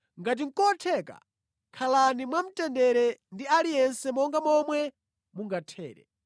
Ngati nʼkotheka, khalani mwamtendere ndi aliyense monga momwe mungathere.